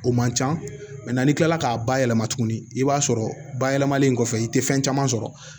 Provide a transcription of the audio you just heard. O man ca n'i kilala k'a bayɛlɛma tuguni i b'a sɔrɔ bayɛlɛmalen kɔfɛ i tɛ fɛn caman sɔrɔ